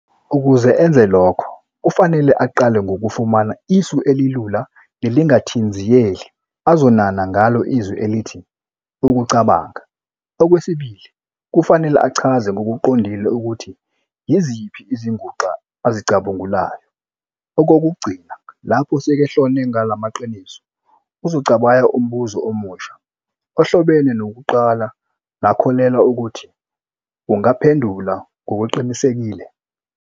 Ukuze enze lokho, kufanele aqale ngokufumana isu elilula nelingathinziyeli azonana ngalo izwi elithi "ukucabanga", okwesibili kufanele achaze ngokuqondile ukuthi yiziphi "izinguxa" azicubungulayo, okokugcina, lapho sekahlone ngalamaqiniso, uzocabaya umbuzo omusha, ohlobene nowokuqala nakholelwa ukuthi ungaphendula ngokuqinisekile.